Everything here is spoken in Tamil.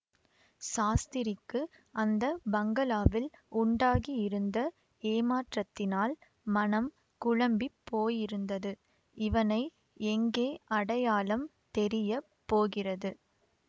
சாஸ்திரிக்கு அந்த பங்களாவில் உண்டாகியிருந்த ஏமாற்றத்தினால் மனம் குழம்பி போயிருந்தது இவனை எங்கே அடையாளம் தெரிய போகிறது